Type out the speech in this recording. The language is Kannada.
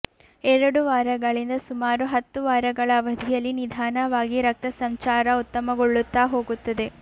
ಎರಡು ವಾರಗಳಿಂದ ಸುಮಾರು ಹತ್ತು ವಾರಗಳ ಅವಧಿಯಲ್ಲಿ ನಿಧಾನವಾಗಿ ರಕ್ತಸಂಚಾರ ಉತ್ತಮಗೊಳ್ಳುತ್ತಾ ಹೋಗುತ್ತದೆ